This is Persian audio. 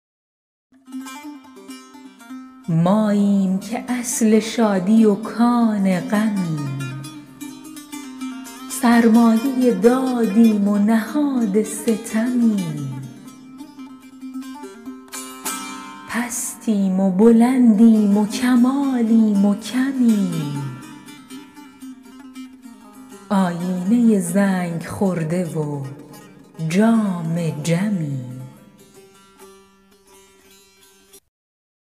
ماییم که اصل شادی و کان غمیم سرمایه دادیم و نهاد ستمیم پستیم و بلندیم و کمالیم و کمیم آیینه زنگ خورده و جام جمیم